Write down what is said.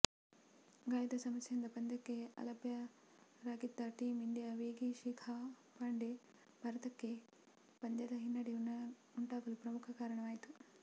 ಗಾಯದ ಸಮಸ್ಯೆಯಿಂದ ಪಂದ್ಯಕ್ಕೆ ಅಲಭ್ಯರಾಗಿದ್ದ ಟೀಂ ಇಂಡಿಯಾ ವೇಗಿ ಶಿಖಾ ಪಾಂಡೆ ಭಾರತಕ್ಕೆ ಪಂದ್ಯದಲ್ಲಿ ಹಿನ್ನಡೆ ಉಂಟಾಗಲು ಪ್ರಮುಖ ಕಾರಣವಾಯಿತು